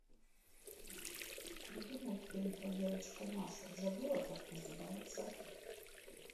найди мультфильм про девочку машу забыла как называется